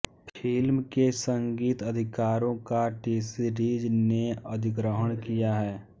film के संगीत अधिकारों का टीसीरीज़ ने अधिग्रहण किया है